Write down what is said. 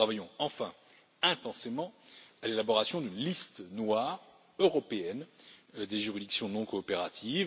Nous travaillons enfin intensément à l'élaboration d'une liste noire européenne des juridictions non coopératives.